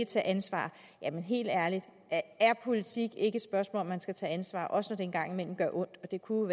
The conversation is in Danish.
tage ansvar jamen helt ærligt er politik ikke et spørgsmål om at man skal tage ansvar også når det engang imellem gør ondt det kunne